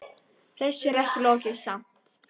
Þessu er ekki lokið samt.